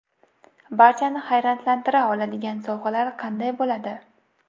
Barchani hayratlantira oladigan sovg‘alar qanday bo‘ladi?.